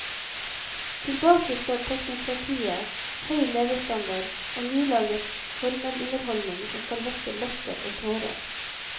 Tilbake står teknokratiet, høy levestandard og nylaget formelunderholdning som skal vekke latter og tårer.